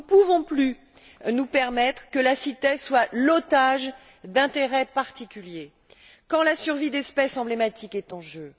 Nous ne pouvons plus nous permettre que la CITES soit l'otage d'intérêts particuliers quand la survie d'espèces emblématiques est en jeu.